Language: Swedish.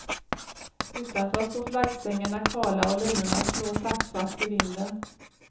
Utanför står flaggstängerna kala och linorna slår taktfast i vinden.